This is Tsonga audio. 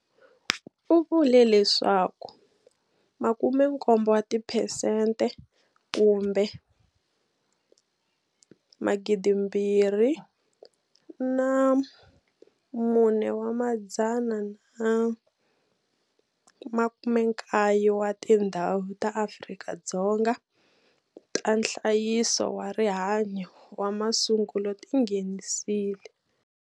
U vule leswaku 70 wa tiphesente kumbe 2 419 wa tindhawu ta Afrika-Dzonga ta nhlayiso wa rihanyo wa ma sungulo ti nghenisile